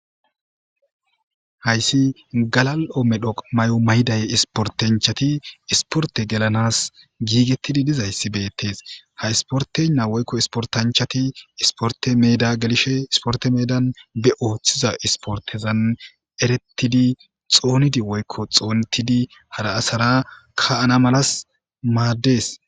hayssi galal7o medhoq may7o mayday isportanchati isporte gelanas giigettidi dizayssi beettes ha isportenna woykko isportanchati isporte meda gelishe isporte meedan be ooththiza isportezan erettidi xoonidi woykko xoonetidi hara asara ka7ana malas maaddes